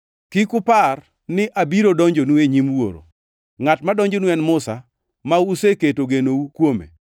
“Kik upar ni abiro donjonu e nyim Wuoro. Ngʼat madonjonu en Musa, ma useketo genou kuome.